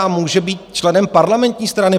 A může být členem parlamentní strany.